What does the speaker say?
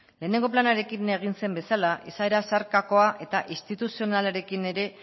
lehenengo planarekin egin zen bezala izaera zeharkakoa eta instituzionalarekin ere